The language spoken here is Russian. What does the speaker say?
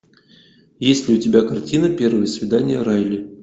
есть ли у тебя картина первое свидание райли